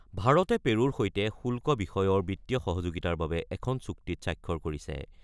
ভাৰতে পেৰুৰ সৈতে শুল্ক বিষয়ৰ বিত্তীয় সহযোগিতাৰ বাবে এখন চুক্তিত স্বাক্ষৰ কৰিছে।